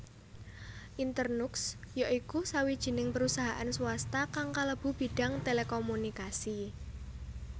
Internux ya iku sawijining perusahaan swasta kang kalebu bidang telekomunikasi